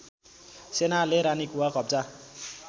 सेनाले रानीकुवा कब्जा